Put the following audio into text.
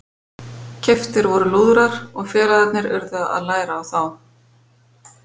Keyptir voru lúðrar og félagarnir urðu að læra á þá.